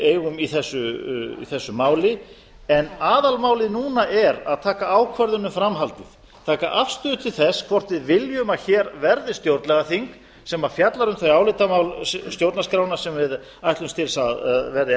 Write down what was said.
eigum í þessu máli en aðalmálið núna er að taka ákvörðun um framhaldið taka afstöðu til þess hvort við viljum að hér verði stjórnlagaþing sem fjallar um þau álitamál stjórnarskrárinnar sem við ætlumst til að verði